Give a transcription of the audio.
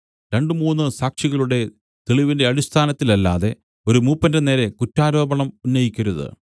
രണ്ടു മൂന്നു സാക്ഷികളുടെ തെളിവിന്റെ അടിസ്ഥാനത്തിലല്ലാതെ ഒരു മൂപ്പന്റെ നേരെ കുറ്റാരോപണം ഉന്നയിക്കരുത്